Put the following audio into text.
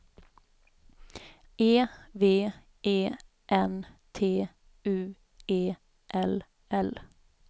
E V E N T U E L L